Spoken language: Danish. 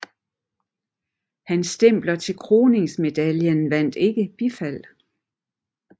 Hans stempler til kroningsmedaljen vandt ikke bifald